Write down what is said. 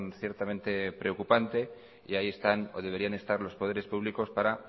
ciertamente preocupante y ahí están o deberían estar los poderes públicos para